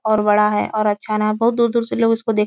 और बड़ा है और अच्छा न बहुत दूर-दूर से लोग इसको देख --